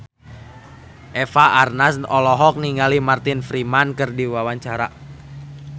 Eva Arnaz olohok ningali Martin Freeman keur diwawancara